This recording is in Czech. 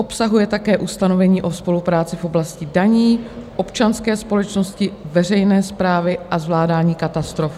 Obsahuje také ustanovení o spolupráci v oblasti daní, občanské společnosti, veřejné správy a zvládání katastrof.